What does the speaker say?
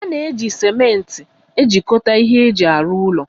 A na-eji cimenti ejikọta ihe eji arụ ụlọ